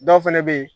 Dɔw fɛnɛ be yen